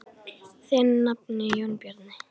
Þinn nafni, Jón Bjarni.